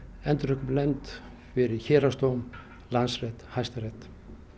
endurupptökunefnd fyrir héraðsdóm Landsrétt Hæstarétt